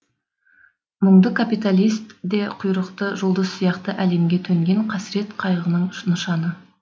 мұңды капиталист де құйрықты жұлдыз сияқты әлемге төнген қасірет қайғының нышаны